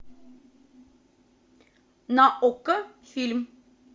на окко фильм